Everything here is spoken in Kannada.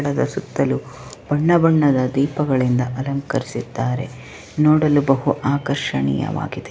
ಸುತ್ತಲೂ ಬಣ್ಣ ಬಣ್ಣದ ದೀಪದಿಂದ ಅಲಂಕರಿಸಿದ್ದಾರೆ ನೋಡಲು ಬಹು ಆಕರ್ಷಣೀಯ ವಾಗಿದೆ.